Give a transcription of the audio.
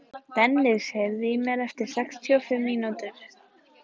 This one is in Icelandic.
Dennis, heyrðu í mér eftir sextíu og fimm mínútur.